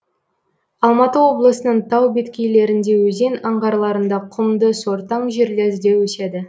алматы облысының тау беткейлерінде өзен аңғарларында құмды сортаң жерлерде өседі